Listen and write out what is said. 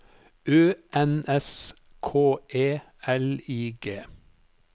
Ø N S K E L I G